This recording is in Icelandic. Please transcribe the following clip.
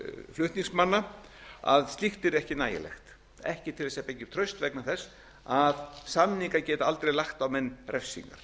flutningsmanna að slíkt yrði ekki nægilegt ekki til þess að byggja upp traust vegna þess að samningar geta aldrei lagt á menn refsingar